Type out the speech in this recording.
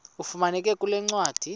ifumaneka kule ncwadi